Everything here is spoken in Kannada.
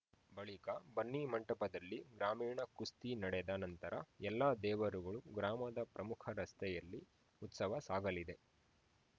ಬಳಿಕ ಬನ್ನಿ ಮಂಟಪದಲ್ಲಿ ಗ್ರಾಮಿಣ ಕುಸ್ತಿ ನಡೆದ ನಂತರ ಎಲ್ಲ ದೇವರುಗಳು ಗ್ರಾಮದ ಪ್ರಮುಖ ರಸ್ತೆಯಲ್ಲಿ ಉತ್ಸವ ಸಾಗಲಿದೆ